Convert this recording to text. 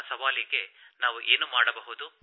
ಇಂತಹ ಸವಾಲಿಗೆ ನಾವು ಏನು ಮಾಡಬಹುದು